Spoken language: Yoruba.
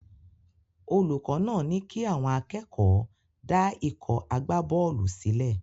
Olùkọ́ náà ní kí àwọn akẹ́kọ̀ọ́ dá ikọ̀ agbábọ́ọ̀lù sílẹ̀.